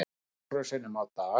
Nokkrum sinnum á dag.